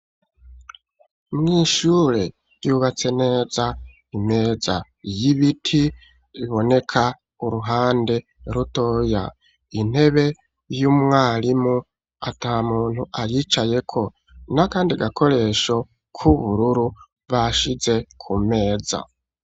Mw’ishure ryubatse neza, imeza y'ibiti iboneka uruhande rutoya, intebe y'umwarimu ata muntu ayicaye ko, na kandi gakoresho k'ubururu bashize ku meza.